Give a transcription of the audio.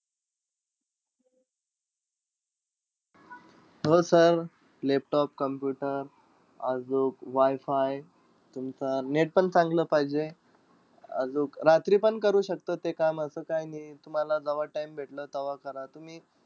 हो sir laptop, computer आजूक WiFi तुमचं net पण चांगलं पाहिजे. आजूक रात्रीपण करू शकता ते काम. असं काई नाई, तुम्हाला जव्हा time भेटलं तव्हा करा.